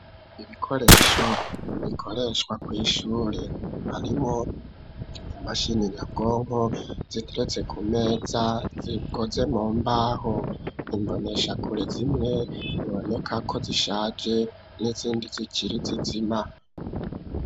Ibikoresho bikoreshwa kw'ishure, harimwo imashini nyabwongo ziteretse ku meza zikozwe mu mbaho, imboneshakure zimwe biboneka ko zishaje n'izindi zikiri zizima.